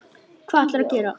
Hvað ætlarðu að gera?